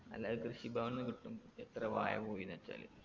അല്ലെങ്കി കൃഷി ഭവൻന്ന് കിട്ടും എത്ര വാഴ പോയീന്ന് വെച്ചാല്